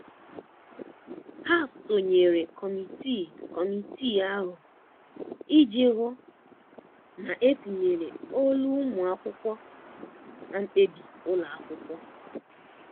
ha sonyere kọmitii kọmitii ahụ iji hụ na etinyere olu ụmụ akwụkwọ na mkpebi ụlọ akwụkwọ.